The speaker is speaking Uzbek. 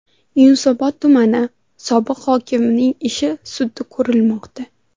Yunusobod tumani sobiq hokimining ishi sudda ko‘rilmoqda .